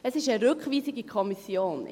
Es ist eine Rückweisung in die Kommission.